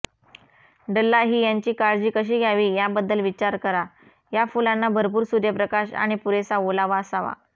डल्लाहियांची काळजी कशी घ्यावी याबद्दल विचार करा या फुलांना भरपूर सूर्यप्रकाश आणि पुरेसा ओलावा असावा